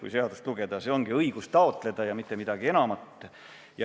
Kui seadust lugeda, siis on näha, et see tähendab õigust taotleda ja ei midagi enamat.